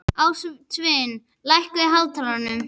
Ástvin, lækkaðu í hátalaranum.